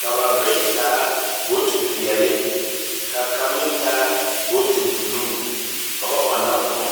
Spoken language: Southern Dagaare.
Ka ba bayi taa bootipeɛle, ka kaŋ meŋ taa booti buluu ka ba ɔnna kõɔ.